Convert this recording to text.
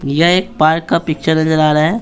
ये एक पार्क का पिक्चर नजर आ रहा है।